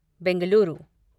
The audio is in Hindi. बेंगलुरु